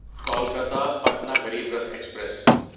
Kolkata Patna Garib Rath express